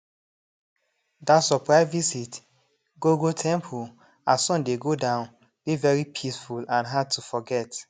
dat surprise visit go go temple as sun dey go down dey very peaceful and hard to forget